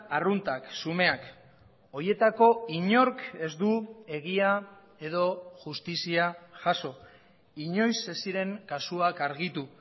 arruntak xumeak horietako inork ez du egia edo justizia jaso inoiz ez ziren kasuak argitu